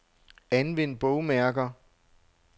Anvend bogmærker.